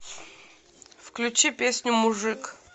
включи песню мужик